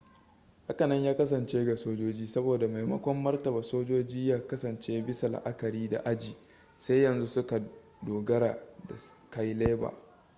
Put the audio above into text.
hakanan ya kasance ga sojoji saboda maimakon martaba sojoji ya kasance bisa la'akari da aji sai yanzu suka dogara da cailaber